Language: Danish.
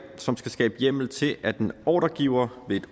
som skal skabe hjemmel til at en ordregiver